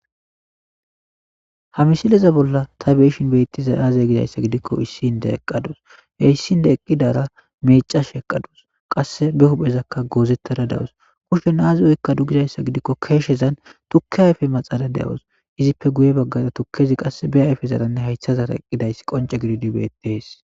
Ha misileza bolla ta beeshin beettiza aaze gidayssa gidikko issinde eqqadus e issinde eqqidara meecash eqadus qass be huphezakka goozettada dawus kushe naazi oykka du gizayssa gidikko keeshshezan tukke hayfe maxala de7os izippe guye baggaza tukkezi qass be ayfe zaranne haythazara eqqidayss qonce gididibeetees